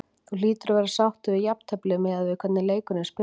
Þú hlýtur að vera sáttur við jafntefli miðað við hvernig leikurinn spilaðist?